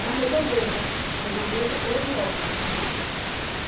na redondeza, na redondeza ou em óbidos.